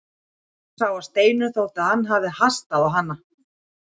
Björn sá að Steinunni þótti að hann hafði hastað á hana.